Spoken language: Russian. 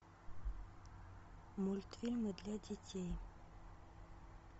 мультфильмы для детей